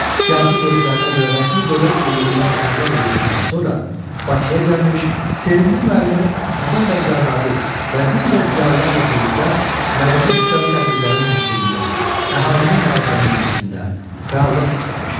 Siyasi görüşlərinə görə rəsmi dövlət qulluğundan azad edildikdən sonra Bakıya gəlmiş, sevimli müəllimi Həsən bəy Zərdabi və digər ziyalılarla birlikdə mədəni-kütləvi tədbirlərin təşkilində, əhalinin maarifləndirilməsində fəallıq göstərmişdir.